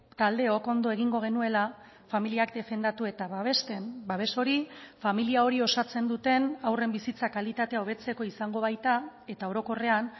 taldeok ondo egingo genuela familiak defendatu eta babesten babes hori familia hori osatzen duten haurren bizitza kalitatea hobetzeko izango baita eta orokorrean